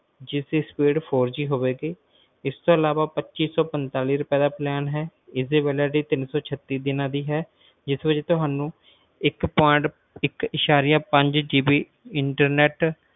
ਜਿਸ ਦੀ speedfourG ਹੋਵੇਗੀ ਇਸ ਤੋਂ ਅਲਾਵਾ ਪਚਿਸੌਪੰਤਾਲੀ ਰੁਪਏ ਦਾ plan ਹੈ ਇਸ ਦੀ validity ਤਿੰਨਸੌਛੱਤੀ ਦਿਨਾਂ ਦੀ ਹੋਏਗੀ ਜਿਸ ਵਿਚ ਤੁਹਾਨੂੰ ਇੱਕ ਦਸ਼ਮਲਵ internetspeed